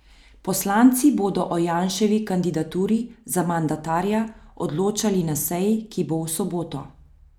Poslanci bodo o Janševi kandidaturi za mandatarja odločali na seji, ki bo v soboto.